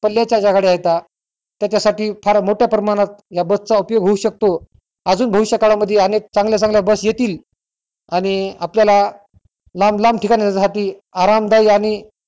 पल्याच्या ज्या गळ्या येतात त्याच्यासाठी फार मोठ्या प्रमाणात या बसचा उपयोग होऊ शकतो अजून भविष्य काळामध्ये चांगल्या चांगल्या बस येतील आणि आपल्याला लांब लांब ठिकाणी साठी आरामदायी आणि